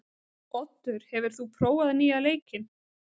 Oddur, hefur þú prófað nýja leikinn?